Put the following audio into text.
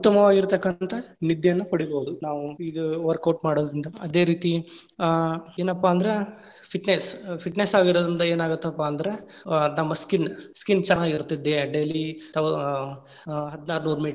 ಉತ್ತಮವಾಗಿರತಕ್ಕಂತಹ ನಿದ್ದೆಯನ್ನು ಪಡಿಬಹುದು ನಾವು ಇದ್‌ workout ಮಾಡೋದ್ರಿಂದ. ಅದೇ ರೀತಿ ಆ ಏನಪ್ಪಾ ಅಂದ್ರ fitness fitness ಆಗಿರೋದ್ರಿಂದ ಏನಾಗತ್ತಪ್ಪಾ ಅಂದ್ರ ಆ ನಮ್ಮ skin skin ಚೆನ್ನಾಗಿರತ್ತೆ. ದೇಹ daily thou~ ಆ ಹದ್ನಾರ ನೂರ ಮೀಟರ್‌.